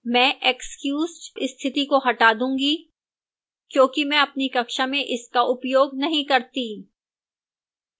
मैं excused स्थिति को हटा दूंगी क्योंकि मैं अपनी कक्षा में इसका उपयोग नहीं करती